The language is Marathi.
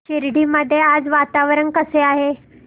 शिर्डी मध्ये आज वातावरण कसे आहे